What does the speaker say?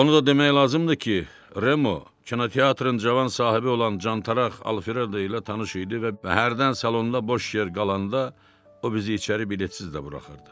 Onu da demək lazımdır ki, Remo kinoteatrın cavan sahibi olan Alfredo Cantaraq ilə tanış idi və hərdən salonda boş yer qalanda o bizi içəri biletsiz də buraxırdı.